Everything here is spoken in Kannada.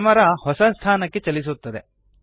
ಕ್ಯಾಮೆರಾ ಹೊಸ ಸ್ಥಾನಕ್ಕೆ ಚಲಿಸುತ್ತದೆ